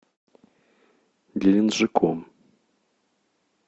геленджиком